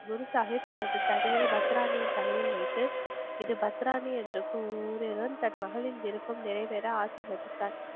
குருசாஹிப் தனது தடியை பத்ராணியின் தலையில் வைத்து இது பத்ராணி என்று கூறியதும் தன் மகளின் விருப்பம் நிறைவேற ஆசிர்வதித்தார்